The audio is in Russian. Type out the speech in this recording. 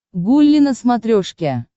гулли на смотрешке